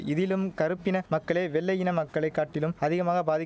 இதிலும் கறுப்பின மக்களே வெள்ளையின மக்களை காட்டிலும் அதிகமாக பாதி